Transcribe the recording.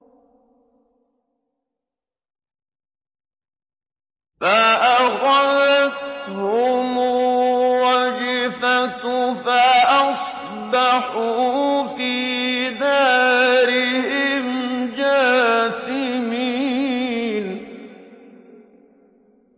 فَأَخَذَتْهُمُ الرَّجْفَةُ فَأَصْبَحُوا فِي دَارِهِمْ جَاثِمِينَ